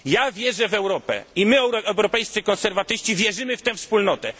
Wierzę w Europę i my, europejscy konserwatyści, wierzymy w tę wspólnotę.